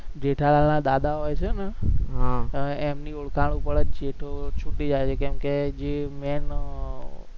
જેઠાલાલના દાદા હોય છે ને હમ એમની ઓળખાણ હોય છે તો છૂટી જાય છે કેમકે જે main